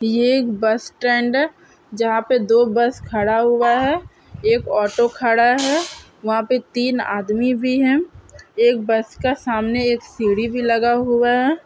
ये एक bus stand है जहां पर दो बस खड़ा हुआ है एक ऑटो खड़ा है वहां पर तीन आदमी भी है एक बस का सामने एक सीढ़ी भी लगा हुआ है।